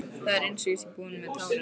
Það er einsog ég sé búin með tárin.